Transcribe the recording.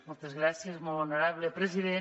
moltes gràcies molt honorable president